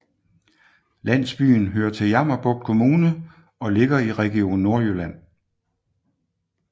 Landsbyen hører til Jammerbugt Kommune og ligger i Region Nordjylland